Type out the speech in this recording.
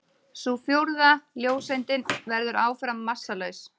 Sú fjórða, ljóseindin, verður áfram massalaus.